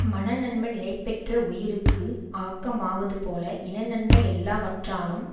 மனநன்மை நிலைபெற்ற உயிர்க்கு ஆக்கமாவதுபோல இன நன்மை எல்லாவற்றானும்